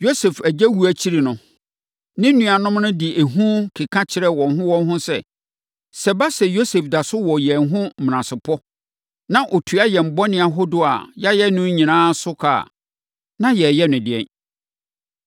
Yosef agya wuo akyiri no, ne nuanom no de ehu ka kyerɛɛ wɔn ho wɔn ho sɛ, “Sɛ ɛba sɛ Yosef da so wɔ yɛn ho menasepɔ, na ɔtua yɛn bɔne ahodoɔ a yɛayɛ no nyinaa so ka a, na yɛreyɛ no ɛdeɛn.”